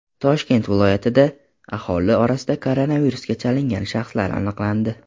Toshkent viloyatida aholi orasida koronavirusga chalingan shaxs aniqlandi.